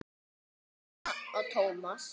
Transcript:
Jóhanna og Tómas.